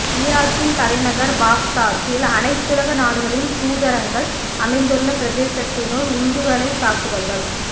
ஈராக்கின் தலைநகர் பாக்தாத்தில் அனைத்துலக நாடுகளின் தூதரங்கள் அமைந்துள்ள பிரதேசத்தினுள் உந்துகணைத் தாக்குதல்கள்